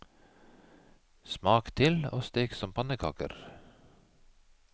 Smak til og stek som pannekaker.